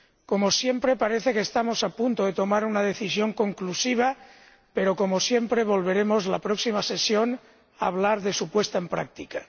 Como siempre, parece que estamos a punto de tomar una decisión conclusiva, pero, como siempre, en la próxima sesión volveremos a hablar de su puesta en práctica.